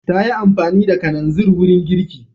Ta yi amfani da kananzir wurin girki.